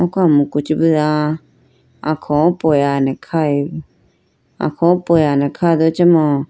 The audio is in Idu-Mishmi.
Oko amuku chibuwa akholo polane khayi bo akholo pola do acha mo.